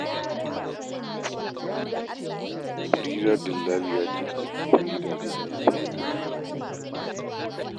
Barira dillaliya ce da take bin gidaje, tana sayar da kaya.